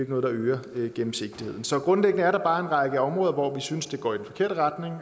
noget der øger gennemsigtigheden så grundlæggende er der bare en række områder hvor vi synes at det går i den forkerte retning og